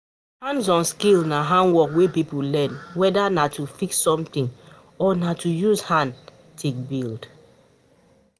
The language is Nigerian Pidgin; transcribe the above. hands on skills na handwork wey person learn, weda na to fix something or na to use hand take build